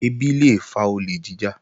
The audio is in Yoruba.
Ẹbí lé fa olè jíjà